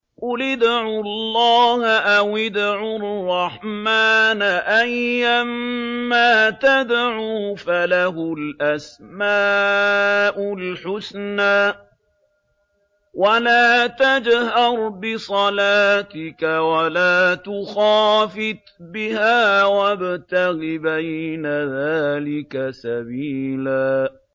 قُلِ ادْعُوا اللَّهَ أَوِ ادْعُوا الرَّحْمَٰنَ ۖ أَيًّا مَّا تَدْعُوا فَلَهُ الْأَسْمَاءُ الْحُسْنَىٰ ۚ وَلَا تَجْهَرْ بِصَلَاتِكَ وَلَا تُخَافِتْ بِهَا وَابْتَغِ بَيْنَ ذَٰلِكَ سَبِيلًا